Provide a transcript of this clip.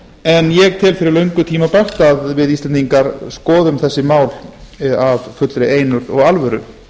en ég tel fyrir löngu tímabært að við íslendingar skoðum þessi mál af fullri einurð og alvöru